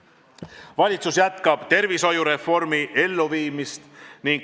Valitsus jätkab tervishoiureformi elluviimist.